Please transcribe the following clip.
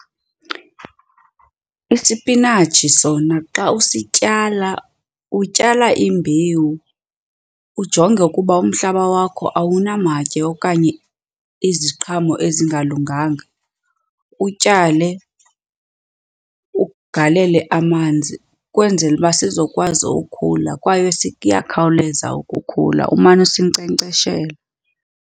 Isipinatshi sona xa usityala, utyala imbewu ujonge ukuba umhlaba wakho awunamatye okanye iziqhamo ezingalunganga. Utyale, ugalele amanzi kwenzela uba sizokwazi ukhula kwaye kuyakhawuleza ukukhula umane usinkcenkceshela.